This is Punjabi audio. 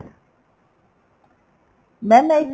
mam ਮੈਂ ਇੱਕ